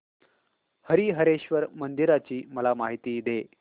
हरीहरेश्वर मंदिराची मला माहिती दे